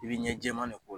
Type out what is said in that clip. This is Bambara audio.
I bɛ ɲɛ jɛman de k'o kɔnɔ